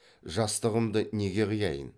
жастығымды неге қияйын